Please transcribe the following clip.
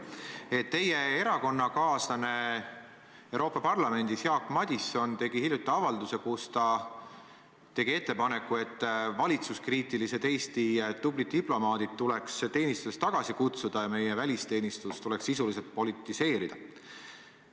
Jaak Madison, teie erakonnakaaslane Euroopa Parlamendis, tegi hiljuti avalduse, kus ta tegi ettepaneku, et valitsuskriitilised Eesti tublid diplomaadid tuleks teenistusest tagasi kutsuda ja meie välisteenistus tuleks sisuliselt politiseerida.